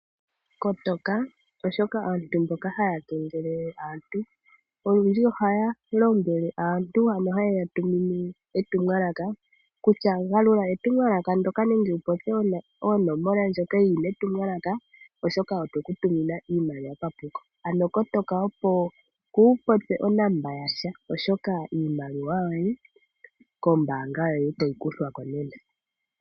Kotoka, oshoka aantu mboka haya kengelele aantu olundji ohaya lombwele aantu, ano haye ya tumine etumwalaka kutya galula etumwalaka ndyoka nenge wu popye oonomola ndhoka dhi li metumwalaka, oshoka oye ku tumina iimaliwa papuko, ano kotoka opo waa popye onomola yasha, oshoka iimaliwa yoye kombaanga otayi vulu okukuthwa ko.